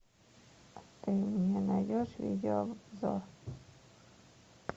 ты мне найдешь видеообзор